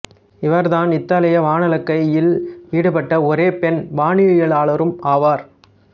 இவர் தான் இத்தாலிய வானளக்கையில் ஈடுபட்ட ஒரே பெண் வானியலாளரும் ஆவார்